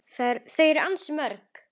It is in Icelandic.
Þau eru ansi mörg.